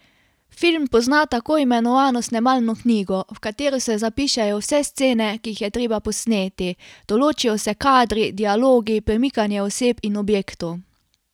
Film pozna tako imenovano snemalno knjigo, v katero se zapišejo vse scene, ki jih je treba posneti, določijo se kadri, dialogi, premikanje oseb in objektov.